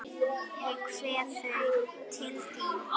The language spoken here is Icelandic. Ég kveð þau til þín.